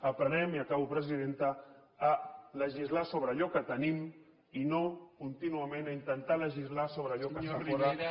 aprenem i acabo presidenta a legislar sobre allò que tenim i no contínuament a intentar legislar sobre allò que està fora